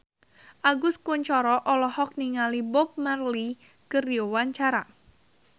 Agus Kuncoro olohok ningali Bob Marley keur diwawancara